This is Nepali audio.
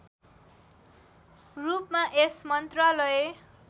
रूपमा यस मन्त्रालय